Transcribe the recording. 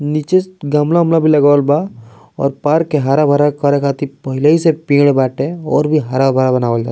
नीचे गमला-उमला भी लगावल बा और पार्क के हरा-भरा करे खातिर पहले से ही पेड़ बाटे और भी हरा-भरा बनावल जा --